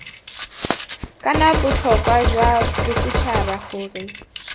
kana botlhokwa jwa bosetšhaba gore